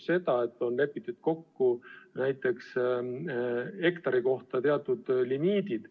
Seal on lepitud kokku hektari kohta teatud limiidid.